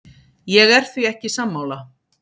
Ég er því ekki sammála.